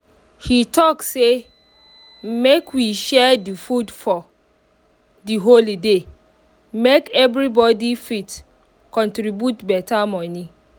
he talk say make we share the food for the holiday make everybody fit contribute better money